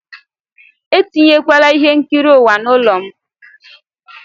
Etinyekwala ihe nkiri ụwa n'ụlọ a!